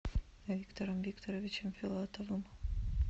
виктором викторовичем филатовым